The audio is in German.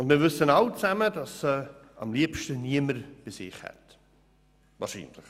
Wir wissen alle, dass sie wahrscheinlich am liebsten niemand in seiner Nähe haben möchte.